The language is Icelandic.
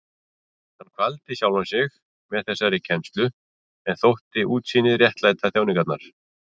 Hann kvaldi sjálfan sig með þessari kennslu en þótti útsýnið réttlæta þjáningarnar.